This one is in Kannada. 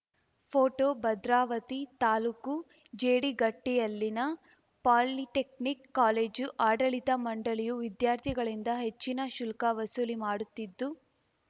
ಫೋಟೋ ಭದ್ರಾವತಿ ತಾಲೂಕು ಜೇಡಿಗಟ್ಟಿಯಲ್ಲಿನ ಪಾಲಿಟೆಕ್ನಿಕ್‌ ಕಾಲೇಜು ಆಡಳಿತ ಮಂಡಳಿಯು ವಿದ್ಯಾರ್ಥಿಗಳಿಂದ ಹೆಚ್ಚಿನ ಶುಲ್ಕ ವಸೂಲಿ ಮಾಡುತ್ತಿದ್ದು